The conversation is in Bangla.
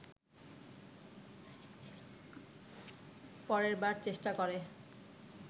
পরের বার চেষ্টা করে